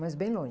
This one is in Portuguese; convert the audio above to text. Mas bem longe.